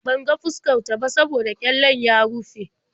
Ban ga fuskar ta ba saboda ƙyallen ya rufe.